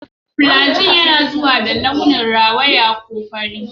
Flagyl yana zuwa da launin rawaya ko fari.